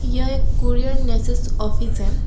यह एक कोरियर नेसेस ऑफिस है।